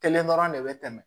Kelen dɔrɔn de bɛ tɛmɛ